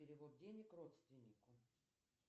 перевод денег родственнику